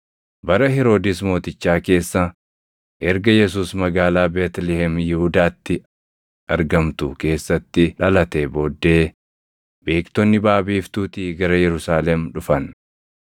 Bara Heroodis Mootichaa keessa, erga Yesuus magaalaa Beetlihem Yihuudaatti argamtu keessatti dhalatee booddee, beektonni baʼa biiftuutii gara Yerusaalem dhufan;